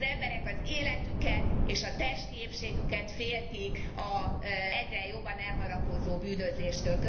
Az emberek az életüket és a testi épségüket féltik az egyre jobban elharapózó bűnözéstől.